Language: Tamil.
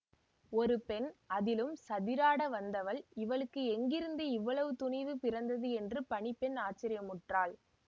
ஒரு பெண் அதிலும் சதிராட வந்தவள் இவளுக்கு எங்கிருந்து இவ்வளவு துணிவு பிறந்தது என்று பணி பெண் ஆச்சரியமுற்றாள்